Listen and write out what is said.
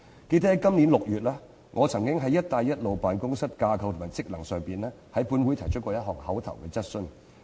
記得在今年6月，我曾就"一帶一路"辦公室的架構和職能，在本會提出過一項口頭質詢。